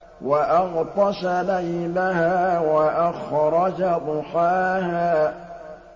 وَأَغْطَشَ لَيْلَهَا وَأَخْرَجَ ضُحَاهَا